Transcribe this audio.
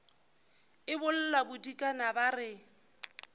e bolla bodikana ba re